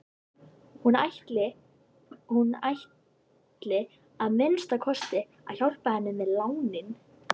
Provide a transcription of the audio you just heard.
Veit það ekki Grófasti leikmaður deildarinnar?